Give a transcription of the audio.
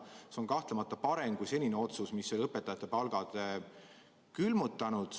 See on kahtlemata parem kui senine otsus, mis õpetajate palgad külmutas.